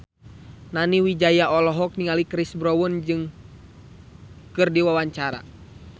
Nani Wijaya olohok ningali Chris Brown keur diwawancara